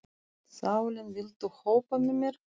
Salín, viltu hoppa með mér?